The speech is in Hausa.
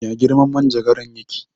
Ya girman manjagaran ya ke?